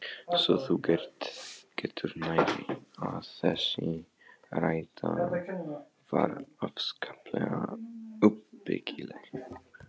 Svo þú getur nærri, að þessi ræða var afskaplega uppbyggileg!!